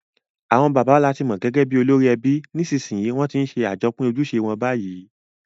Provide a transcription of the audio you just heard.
Àwon bàbá làti mo gẹ́gẹ́ bi olórí ebi, nìsnsìnyí won ti n se àjopín ojúse won bayi